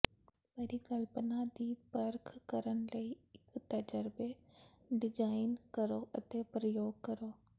ਪਰਿਕਲਪਨਾ ਦੀ ਪਰਖ ਕਰਨ ਲਈ ਇੱਕ ਤਜਰਬੇ ਡੀਜ਼ਾਈਨ ਕਰੋ ਅਤੇ ਪ੍ਰਯੋਗ ਕਰੋ